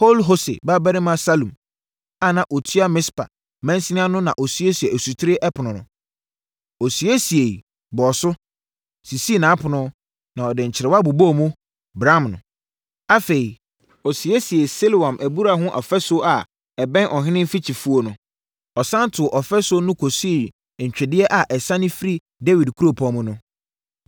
Kol-Hose babarima Salum a na ɔtua Mispa mansini ano no na ɔsiesiee Asutire Ɛpono no. Ɔsiesiee, bɔɔ so, sisii nʼapono na ɔde nkyerewa bobɔɔ mu, bramm no. Afei, ɔsiesiee Siloam abura ho ɔfasuo a ɛbɛn ɔhene mfikyifuo no. Ɔsane too ɔfasuo no kɔsii ntwedeɛ a ɛsiane firi Dawid kuropɔn mu no.